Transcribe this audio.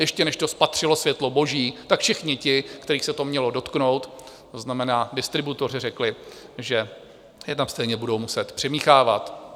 Ještě než to spatřilo světlo boží, tak všichni ti, kterých se to mělo dotknout, to znamená distributoři, řekli, že je tam stejně budou muset přimíchávat.